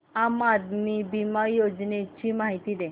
आम आदमी बिमा योजने ची माहिती दे